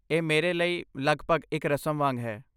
ਇਹ ਮੇਰੇ ਲਈ ਲਗਭਗ ਇੱਕ ਰਸਮ ਵਾਂਗ ਹੈ।